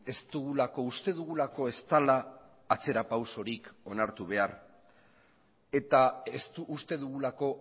uste dugulako